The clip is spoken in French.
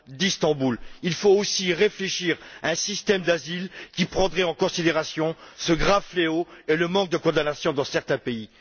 d'Istanbul. Il faut également réfléchir à un système d'asile qui prendrait en considération ce grave fléau et l'absence de condamnation dans certains pays.